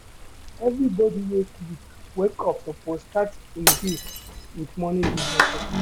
Everybodi wey sleep, wake up suppose start im day wit morning devotion.